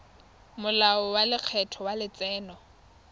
molao wa lekgetho wa letseno